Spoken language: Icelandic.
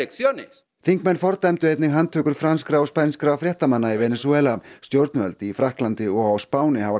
þingmenn fordæmdu einnig handtökur franskra og spænskra fréttamanna í Venesúela stjórnvöld í Frakklandi og á Spáni hafa